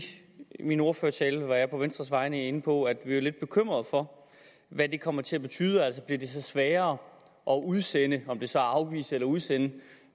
min ordførertale var jeg på venstres vegne inde på at vi er lidt bekymret for hvad det kommer til at betyde altså bliver det så sværere at udsende om det så er afvise eller udsende